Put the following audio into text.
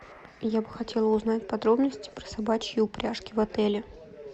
я бы хотела узнать подробности про собачьи упряжки в отеле